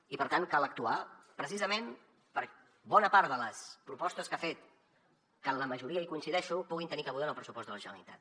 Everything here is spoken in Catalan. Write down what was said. i per tant cal actuar precisament perquè bona part de les propostes que ha fet que en la majoria coincideixo puguin tenir cabuda en el pressupost de la generalitat